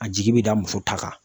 A jigi bɛ da muso ta kan